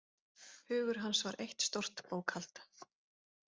Hugur hans var eitt stórt bókhald.